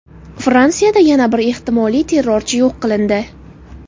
Fransiyada yana bir ehtimoliy terrorchi yo‘q qilindi.